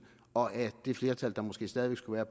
og af det flertal der måske stadig væk skulle være